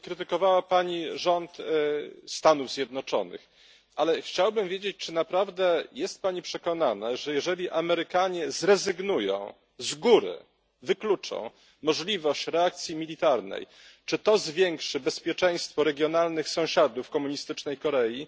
Krytykowała pani rząd Stanów Zjednoczonych, ale chciałbym wiedzieć czy naprawdę jest pani przekonana, że jeżeli Amerykanie zrezygnują, z góry wykluczą możliwość reakcji militarnej, czy to zwiększy bezpieczeństwo regionalnych sąsiadów komunistycznej Korei?